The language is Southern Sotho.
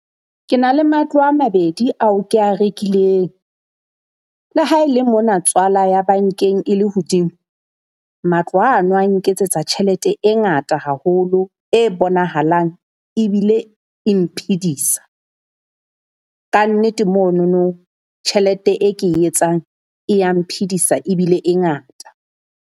Ke na le matlo a mabedi ao kea rekileng. Le ha e le mona tswala ya bankeng e le hodimo matlo ano a nketsetsa tjhelete e ngata haholo, e bonahalang ebile e mphidisa. Kannete monono tjhelete e ke e etsang e ya mphidisa ebile e ngata.